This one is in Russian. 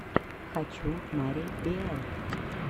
хочу мари биэл